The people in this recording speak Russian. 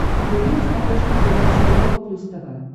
вруби на смотрешке передачу европа плюс тв